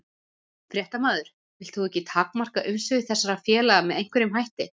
Fréttamaður: Vilt þú ekki takmarka umsvif þessara félaga með einhverjum hætti?